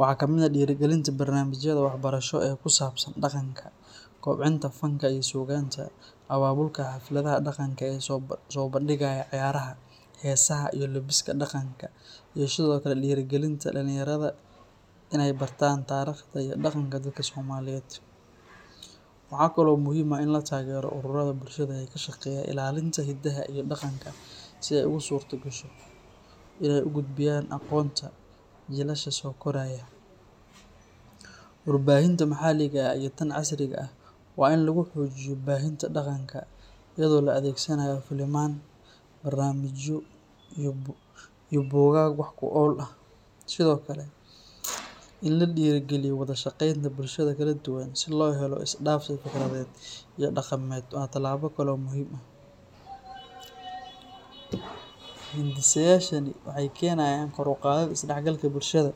Waxaa ka mid ah dhiirrigelinta barnaamijyada waxbarasho ee ku saabsan dhaqanka, kobcinta fanka iyo suugaanta, abaabulka xafladaha dhaqanka ee soo bandhigaya ciyaaraha, heesaha, iyo labiska dhaqanka, iyo sidoo kale dhiirrigelinta dhalinyarada inay bartaan taariikhda iyo dhaqanka dadka Soomaaliyeed. Waxaa kale oo muhiim ah in la taageero ururada bulshada ee ka shaqeeya ilaalinta hiddaha iyo dhaqanka si ay ugu suurtagasho inay u gudbiyaan aqoonta jiilasha soo koraya. Warbaahinta maxalliga ah iyo tan casriga ah waa in lagu xoojiyo baahinta dhaqanka, iyadoo la adeegsanayo filimaan, barnaamijyo iyo buugaag wax ku ool ah. Sidoo kale, in la dhiirrigeliyo wada shaqaynta bulshada kala duwan si loo helo isdhaafsi fikradeed iyo dhaqameed waa talaabo kale oo muhiim ah. Hindisayaashani waxay keenayaan kor u qaadid isdhexgalka bulshada,